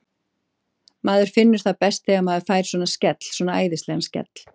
Maður finnur það best þegar maður fær svona skell, svona æðislegan skell.